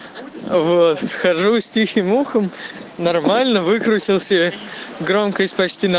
схожу стихи мухам нормально выкрутился громкость почти на максимум